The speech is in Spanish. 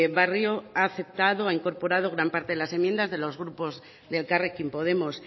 barrio ha aceptado ha incorporado gran parte de las enmiendas de los grupos de elkarrekin podemos